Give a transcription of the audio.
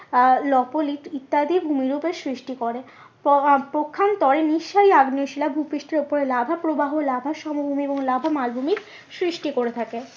আহ ইত্যাদি ভূমি রূপের সৃষ্টি করে পক্ষান্তরে নিঃসারী আগ্নেয় শিলা ভুপৃষ্ঠের ওপরে লাভা প্রবাহ লাভা সমভূমি এবং লাভা মালভূমির সৃষ্টি করে থাকে।